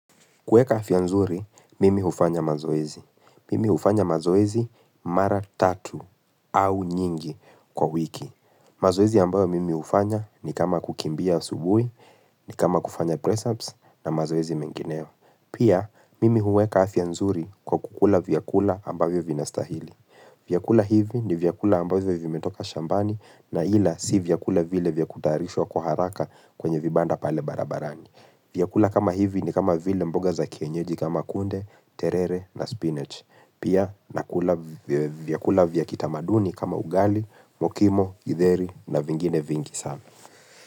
Kuweka afya nzuri, mimi hufanya mazoezi. Mimi hufanya mazoezi mara tatu au nyingi kwa wiki. Mazoezi ambayo mimi hufanya ni kama kukimbia asubuhi, ni kama kufanya press ups na mazoezi mengineo. Pia, mimi huweka afya nzuri kwa kukula vyakula ambavyo vinastahili. Vyakula hivi ni vyakula ambavyo vimetoka shambani na ila si vyakula vile vya kutayarishwa kwa haraka kwenye vibanda pale barabarani. Vyakula kama hivi ni kama vile mboga za kienyeji kama kunde, terere na spinach. Pia nakula vyakula vya kitamaduni kama ugali, mokimo, githeri na vingine vingi sana.